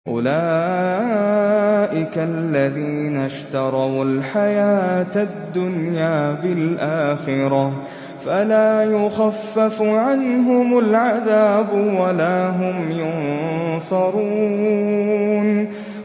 أُولَٰئِكَ الَّذِينَ اشْتَرَوُا الْحَيَاةَ الدُّنْيَا بِالْآخِرَةِ ۖ فَلَا يُخَفَّفُ عَنْهُمُ الْعَذَابُ وَلَا هُمْ يُنصَرُونَ